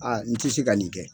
n tɛ se ka nin kɛ.